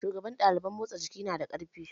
Shugaban ɗaliban motsa jiki nada ƙarfi